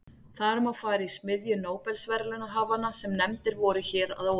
Þar má fara í smiðju nóbelsverðlaunahafanna sem nefndir voru hér að ofan.